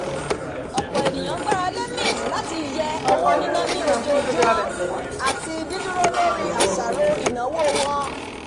ọ̀pọ̀ ènìyàn gbarale mint láti yẹ owó níná ní ojoojúmọ́ àti dídúró lórí àṣàrò ìnáwó wọn